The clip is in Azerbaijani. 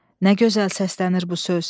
Nə gözəl səslənir bu söz.